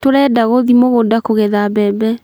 Turenda guthii mugunda kugetha mbembe